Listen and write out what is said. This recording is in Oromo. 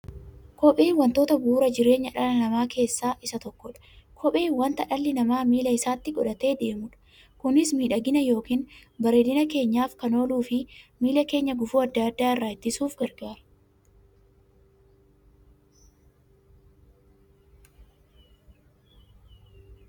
Kopheen wantoota bu'uura jireenya dhala namaa keessaa isa tokkodha. Kopheen wanta dhalli namaa miilla isaatti godhatee deemudha. Kunis miidhagani yookiin bareedina keenyaf kan ooluufi miilla keenya gufuu adda addaa irraa ittisuuf gargaara.